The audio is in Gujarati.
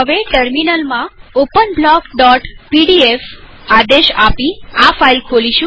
ટેર્મીનલમાંથી ઓપન બ્લોકપીડીએફ આદેશ આપી આ ફાઈલ ખોલીએ